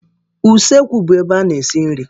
Ụsekwu bụ ebe a na-esi nri.